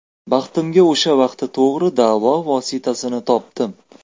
Baxtimga o‘sha vaqti to‘g‘ri davo vositasini topdim.